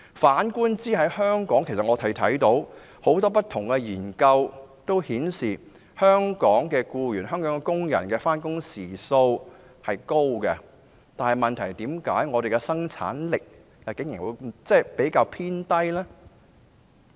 反觀香港，許多不同的研究均顯示，香港的僱員工作時數長，但為何香港的生產力竟然偏低呢？